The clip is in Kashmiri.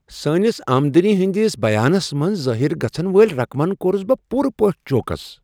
سٲنس آمدنی ہٕندِس بیانس منٛز ظٲہر گژھن وٲلۍ رقمن کۄرُس بہٕ پورٕ پٲٹھۍ چوکس۔